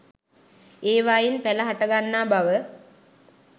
ඒවායින් පැල හටගන්නා බව